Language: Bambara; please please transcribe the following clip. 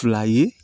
Fila ye